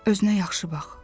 Özünə yaxşı bax.